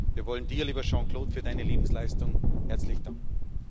Wir wollen Dir, lieber Jean Claude, für Deine Lebensleistung herzlich danken.